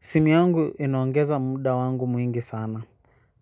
Simu yangu inaongeza muda wangu mwingi sana.